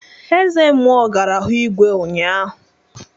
Eze mmụọ gara hu igwe ụnyaahụ